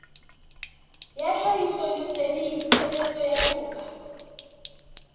ya tlhahisoleseding tshebetsong ya toka